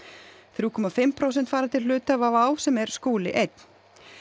þrjú komma fimm prósent fara til hluthafa WOW sem er Skúli einn